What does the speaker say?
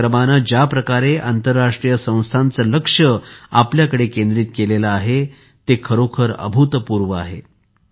या उपक्रमाने ज्याप्रकारे आंतरराष्ट्रीय संस्थांचे लक्ष आपल्याकडे केंद्रित केले आहे ते अभूतपूर्व आहे